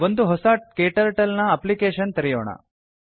ಒಂದು ಹೊಸ KTurtleನ ಅಪ್ಲಿಕೇಷನ್ ತೆರೆಯೋಣ